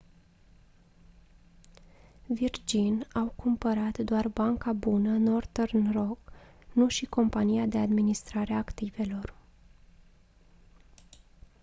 virgin au cumpărat doar banca bună northern rock nu și compania de administrare a activelor